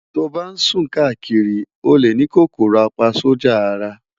to ban sun kakiri, o le ni KòkòròApaSójà Ara